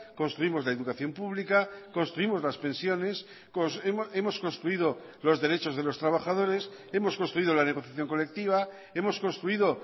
construimos la educación pública construimos las pensiones hemos construido los derechos de los trabajadores hemos construido la negociación colectiva hemos construido